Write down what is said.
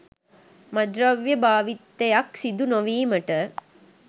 මත්ද්‍රව්‍ය භාවිතයක් සිදු නොවීමට